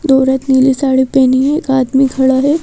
दो औरत नीली साड़ी पहनी है एक आदमी खड़ा है।